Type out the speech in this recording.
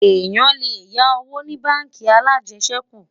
èyán lè yá owó ní bánkì alàjesèkú